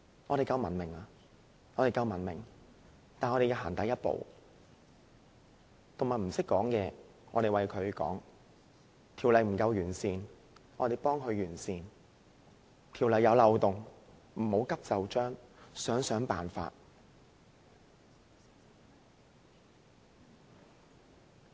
我們屬文明社會，要踏出第一步，動物不懂得發聲，我們為牠們發聲；法例不夠完善，我們將它完善；法例出現漏洞，不要急就章，要想想辦法。